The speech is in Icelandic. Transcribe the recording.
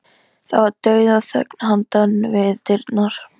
Það var dauðaþögn handan við dyrnar.